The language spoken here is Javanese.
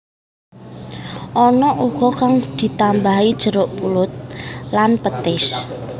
Ana uga kang ditambahi jeruk purut lan petis